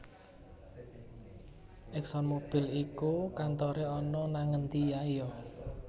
ExxonMobil iku kantore ana nang endi ae yo